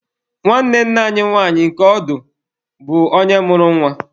Nwanne nne anyi nwanyị nke ọdụ bụ onye mụrụ nwa.